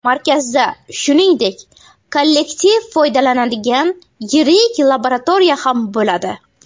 Markazda, shuningdek, kollektiv foydalaniladigan yirik laboratoriya ham bo‘ladi.